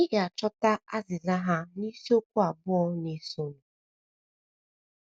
Ị ga - achọta azịza ha n’isiokwu abụọ na - esonụ.